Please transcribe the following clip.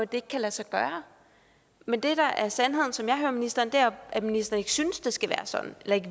det ikke kan lade sig gøre men det der er sandheden som jeg hører ministeren er jo at ministeren ikke synes det skal være sådan eller ikke